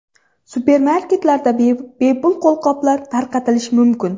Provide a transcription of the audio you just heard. Supermarketlarda bepul qo‘lqoplar tarqatilishi mumkin.